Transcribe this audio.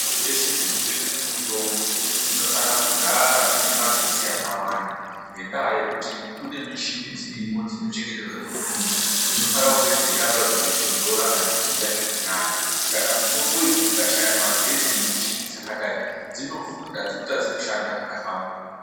Dzeshe dzinotengeswa mitombo dzinofana kugara dzine magetsi akawanda ngendaa yekuti kune mishini dzirimo dzinochengeterwe mitombo dzinofana kunge dzeiramba dzeitondora kana kudziya zviri nani saka mitombo idzi dzikashaya magetsi nemishini dzakadai dzinovhunda dzotadza kushanda zvakahlamburuka.